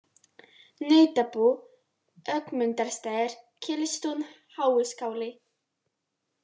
Nautabú, Ögmundarstaðir, Gilstún, Háiskáli